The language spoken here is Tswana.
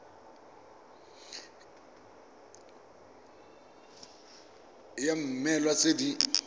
id ya mmoelwa tse di